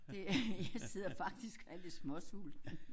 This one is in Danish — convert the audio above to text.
Det jeg sidder faktisk og er lidt småsulten